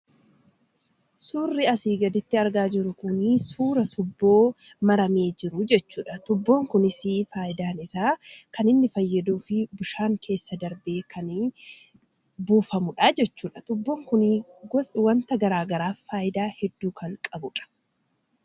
Suurri asi gaditti argaa jirru kun, suuraa tuuppoo maramee jiru jechuudha. tuuppoon kunis, faayidaan isaa kaniinni fayyadufi bishaan keessa darbee kan durfamudha. tuuppoon kun, wanta garaagaraaf faayidaa hedduu kan qabudha.